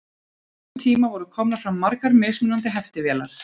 á þessum tíma voru komnar fram margar mismunandi heftivélar